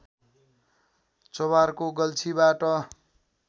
चोभारको गल्छीबाट